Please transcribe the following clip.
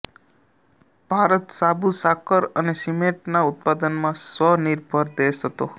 ભારત સાબુ સાકર અને સિમેન્ટના ઉત્પાદનમાં સ્વનિર્ભર દેશ હતો